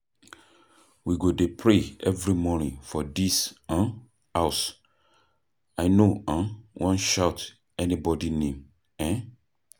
We go dey pray every morning for dis um house. I no um wan shout anybody name. um